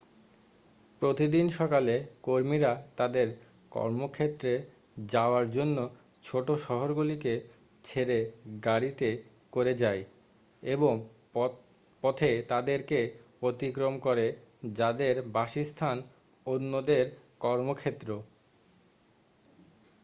প্রতিদিন সকালে কর্মীরা তাদের কর্মক্ষেত্রে যাওয়ার জন্য ছোটো শহরগুলিকে ছেড়ে গাড়িতে করে যায় এবং পথে তাদেরকে অতিক্রম করে যাদের বাসস্থান অন্যদের কর্মক্ষেত্র